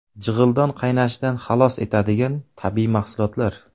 Jig‘ildon qaynashidan xalos etadigan tabiiy mahsulotlar.